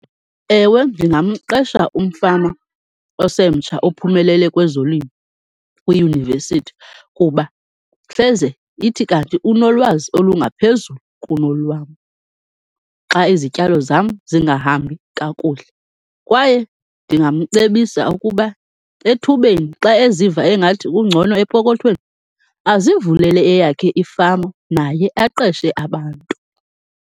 Ewe ndingamqesha umfama osemtsha ophumelele kwezolimo kwiyunivesithi kuba hleze ithi kanti unolwazi olungaphezulu kunolwam xa izityalo zam zingahambi kakuhle. Kwaye ndingamcebisa ukuba ethubeni, xa eziva engathi ungcono epokothweni azivulele eyakhe ifama, naye aqeshe abantu.